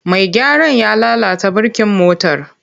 Mai gyaran ya lalata birkin motar.